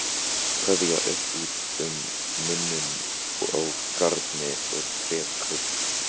Kveða upp úr um muninn á garni og trékubb.